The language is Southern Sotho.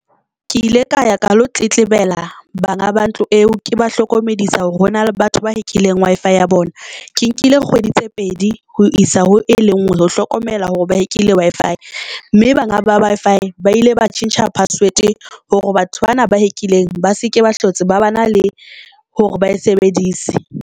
Ke ile ka ya ka lo tetebela banga ba ntlo eo, ke ba hlokomedisa hore hona le batho ba checkileng Wi-Fi ya bona. Ke nkile kgwedi tse pedi ho isa ho e lengwe ho emela hore ba checkile Wi-Fi mme banga ba by five ba ile ba tjhentjha password hore batho bana ba check-ileng ba seke ba hlotse, ba ba na le hore ba e sebedise.